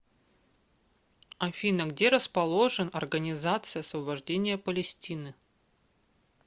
афина где расположен организация освобождения палестины